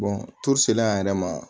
selen an yɛrɛ ma